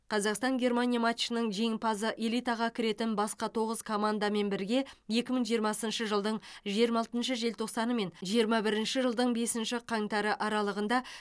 қазақстан германия матчының жеңімпазы элитаға кіретін басқа тоғыз командамен бірге екі мың жиырмасыншы жылдың жиырма алтыншы желтоқсаны мен жиырма бірінші жылдың бесінші қаңтары аралығында